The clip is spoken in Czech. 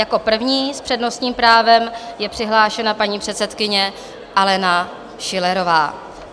Jako první s přednostním právem je přihlášena paní předsedkyně Alena Schillerová.